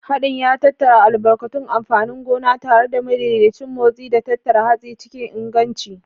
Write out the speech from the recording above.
Haɗin ya tattara albarkatu amfanin gona tare da madaidaicin motsi, da tattara hatsi cikin inganci.